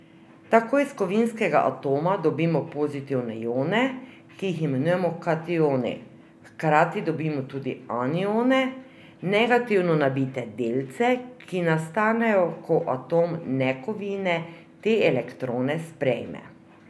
Tako iz kovinskega atoma dobimo pozitivne ione, ki jih imenujemo kationi, hkrati dobimo tudi anione, negativno nabite delce, ki nastanejo, ko atom nekovine te elektrone sprejme.